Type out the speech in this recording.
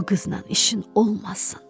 bu qıznan işin olmasın.